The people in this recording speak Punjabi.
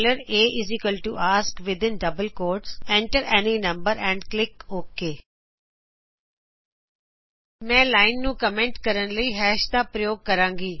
aask within double quotes enter any number and click okay ਮੈਂ ਲਾਇਨ ਨੂੰ ਕਮੈਂਟ ਕਰਨ ਲਈ hash ਦਾ ਪ੍ਰਯੋਗ ਕਰਾਗੀ